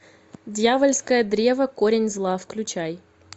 дьявольское древо корень зла включай